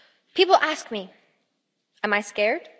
People ask me, am I scared?